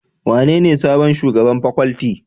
Wanene sabon shugaban Paculty?